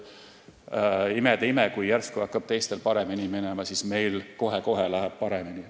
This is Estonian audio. Imede ime, kui teistel hakkab järsku paremini minema, siis läheb meil kohe-kohe paremini.